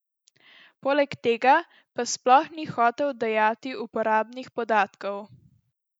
Poleg tega pa sploh ni hotel dajati uporabnih podatkov.